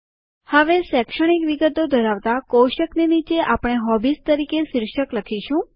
હવે શૈક્ષણિક વિગતો ધરાવતા કોષ્ટકની નીચે આપણે હોબીઝ તરીકે શીર્ષક લખીશું